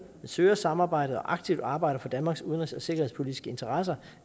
søger samarbejdet og aktivt arbejder for danmarks udenrigs og sikkerhedspolitiske interesser